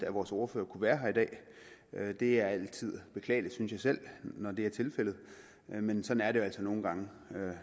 vores ordfører at være her i dag det er altid beklageligt synes jeg selv når det er tilfældet men sådan er det jo altså nogle gange